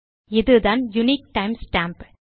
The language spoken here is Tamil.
இதுதான் யுனிக் time ஸ்டாம்ப்